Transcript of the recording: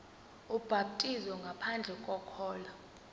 ubhaptizo ngaphandle kokholo